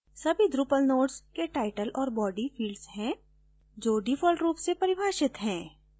सभी drupal nodes के title और body fields है जो default रूप से परिभाषित हैं